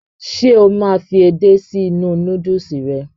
Ṣe o máa n fí edé si inú núdùùsì rẹ?